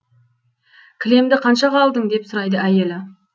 кілемді қаншаға алдың деп сұрайды әйелі